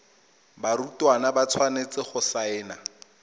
barutwana ba tshwanetse go saena